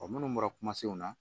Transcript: minnu bɔra kumasenw na